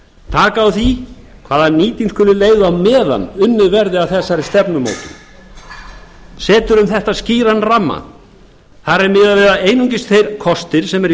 taka á því hvaða nýting skuli leyfð á meðan unnið verði að þessari stefnumótun setur um þetta skýran ramma þar er miðað við að einungis þeir kostir sem eru í